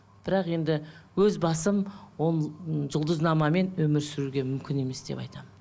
бірақ енді өз басым ол ы жұлдызнамамен өмір сүруге мүмкін емес деп айтамын